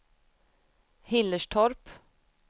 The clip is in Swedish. Hillerstorp